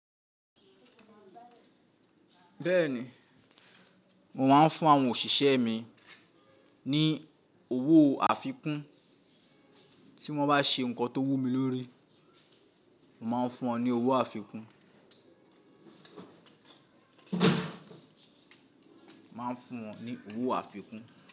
Bẹ́ẹ̀ni, mo máa ń fún àwọn òṣìṣẹ́ mi ní owó àfikún tí wọ́n bá ṣe nǹkan tó wú mi lórí, mo máa ń fún wọn ní owó àfikún. Mo máa ń fún wọn ní owó àfikún.